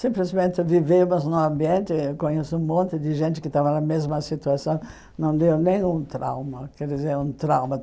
Simplesmente vivemos num ambiente, eu conheço um monte de gente que estava na mesma situação, não deu nem um trauma, quer dizer, um trauma.